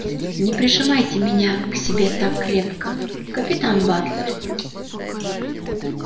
не прижимайте меня к себе так крепко капитан батлер